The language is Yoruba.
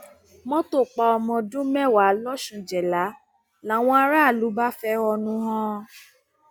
mọtò pa ọmọ ọdún mẹwàá lọsúnjẹlá làwọn aráàlú bá fẹhónú hàn